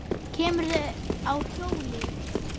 kemurðu á hjóli?